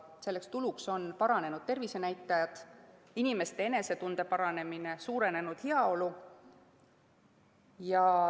Selleks tuluks on paranenud tervisenäitajad, inimeste enesetunde paranemine ja suurenenud heaolu.